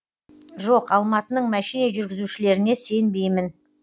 жоқ алматының мәшине жүргізушілеріне сенбеймін